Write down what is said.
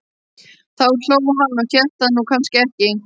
Þá hló hann og hélt það nú kannski ekki.